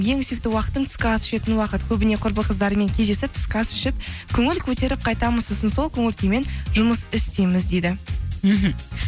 ең сүйікті уақытым түскі ас ішетін уақыт көбіне құрбы қыздармен кездесіп түскі ас ішіп көңіл көтеріп қайтамыз сосын сол көңіл күймен жұмыс істейміз дейді мхм